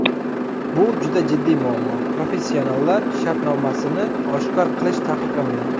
Bu juda jiddiy muammo, professionallar shartnomasini oshkor qilish taqiqlangan.